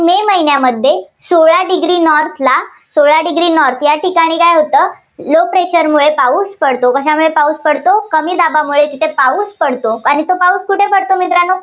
मे महिन्यामध्ये सोळा degree north ला सोळा degree north या ठिकाणी काय होतं low pressure मुळे पाऊस पडतो. कशामुळे पाऊस पडतो. कमी दाबामुळे तिथे पाऊस पडतो. आणि तो पाऊस कुठे पडतो मित्रांनो